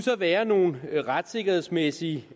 være nogle retssikkerhedsmæssige